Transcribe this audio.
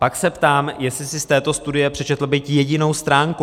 Pak se ptám, jestli si z této studie přečetl byť jedinou stránku.